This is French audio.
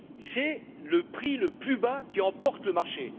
C'est le prix le plus bas qui emporte le marché.